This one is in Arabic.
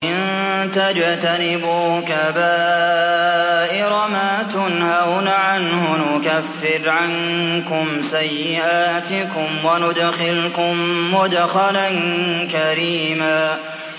إِن تَجْتَنِبُوا كَبَائِرَ مَا تُنْهَوْنَ عَنْهُ نُكَفِّرْ عَنكُمْ سَيِّئَاتِكُمْ وَنُدْخِلْكُم مُّدْخَلًا كَرِيمًا